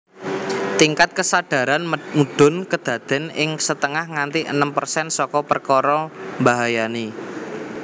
Tingkat kesadaran mudhun kedadean ing setengah nganti enem persen saka perkara mbahayani